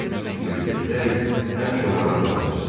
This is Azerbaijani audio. Çünki Detrevel həmişə onların dadına çatırdı.